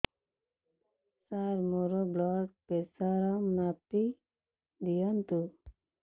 ସାର ମୋର blood pressure ମାପି ଦିଅନ୍ତୁ